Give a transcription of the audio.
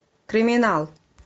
криминал